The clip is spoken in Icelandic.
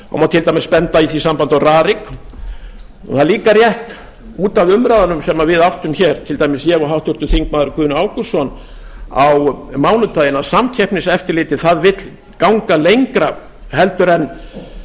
til dæmis benda í því sambandi á rarik það er líka rétt út af umræðunum sem við áttum hér til dæmis ég og háttvirtur þingmaður guðni ágústsson á mánudaginn að samkeppniseftirlitið vill ganga lengra en